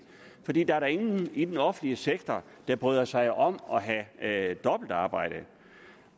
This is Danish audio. for der er da ingen i den offentlige sektor der bryder sig om at have dobbeltarbejde